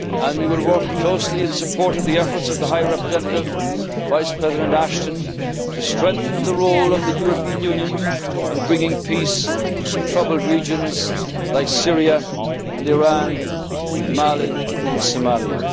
and global poverty. We will work closely in support of the efforts of the High Representative Vice President Ashton to strengthen the role of the European Union in bringing peace to troubled regions such as Syria,